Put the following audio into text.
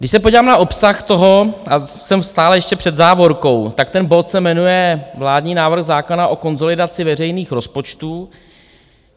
Když se podívám na obsah toho, a jsem stále ještě před závorkou, tak ten bod se jmenuje vládní návrh zákona o konsolidaci veřejných rozpočtů.